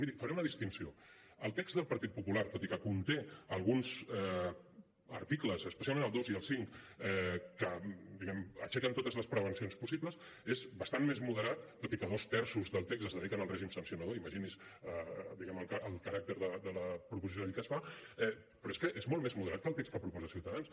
miri faré una distinció el text del partit popular tot i que conté alguns articles especialment el dos i el cinc que aixequen totes les prevencions possibles és bastant més moderat tot i que dos terços del text es dediquen al règim sancionador imagini’s diguem ne el caràcter de la proposició de llei que es fa però és que és molt més moderat que el text que proposa ciutadans